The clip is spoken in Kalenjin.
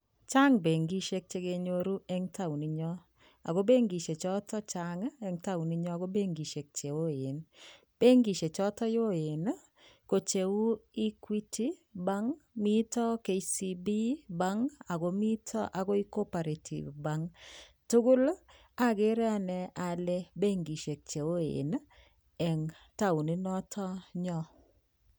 Chang benkisiek che kenyoru eng taoninyo ago benkisiek choto chang eng taoninyon ko benkisiek che oen. Benkisiek choto oen, ko cheu Equity Bank, mito KCB Bank ago mito agoi Co-operative Bank. Tugul agere anne ale benkisiek cheoen eng taonit noto nyo.